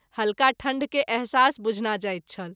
हल्का ठंढ के एहसास बुझना जाइत छल।